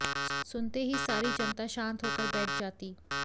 सुनते ही सारी जनता शान्त हो कर बैठ जाती